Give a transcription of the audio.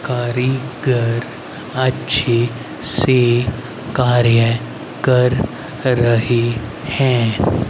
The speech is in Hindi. कारीगर अच्छी सी कार्य कर रही हैं।